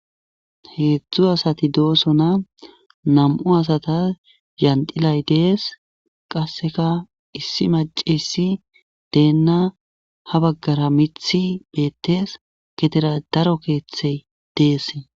heedzdzu asati doosona, nam7u asata yandilay dees, qasseka issi macessi deenna ,ha baggara mithi beettes getera daro keeththey dees.